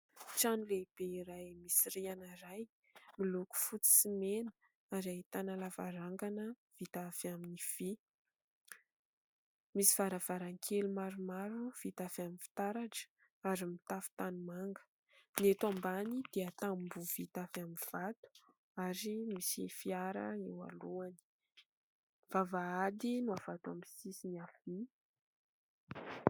Trano lehibe iray misy rihana iray, miloko fotsy sy mena ary ahitana lavarangana vita avy amin'ny vy. Misy varavarankely maromaro vita avy amin'ny fitaratra ary mitafo tanimanga. Ny eto ambany dia tamboho vita avy amin'ny vato ary misy fiara eo alohany. Vavahady no avy ato amin'ny sisiny havia.